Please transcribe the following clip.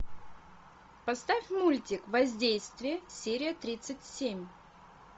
поставь мультик воздействие серия тридцать семь